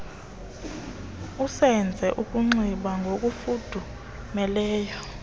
uzenze ukunxiba ngokufudumeleyo